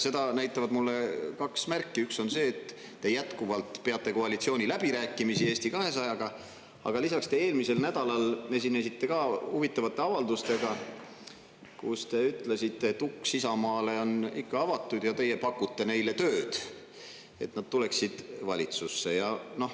Seda näitavad mulle kaks märki: üks on see, et te jätkuvalt peate koalitsiooniläbirääkimisi Eesti 200-ga, aga lisaks te eelmisel nädalal esinesite ka huvitavate avaldustega, kus te ütlesite, et uks Isamaale on ikka avatud ja teie pakute neile tööd, et nad tuleksid valitsusse.